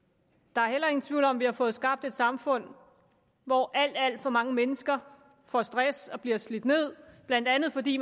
der er heller ingen tvivl om at vi har fået skabt et samfund hvor alt alt for mange mennesker får stress og bliver slidt ned blandt andet fordi